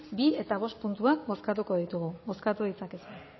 bigarrena eta bostgarrena puntuak bozkatuko ditugu bozkatu ditzakezue